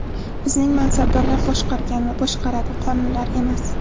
Bizni mansabdorlar boshqargan va boshqaradi, qonunlar emas”.